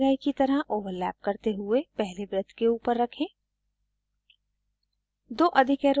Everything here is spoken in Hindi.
इसे दिखाए गए की तरह ओवरलैप करते हुए पहले वृत्त के ऊपर रखें